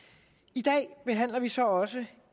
i dag behandler vi så også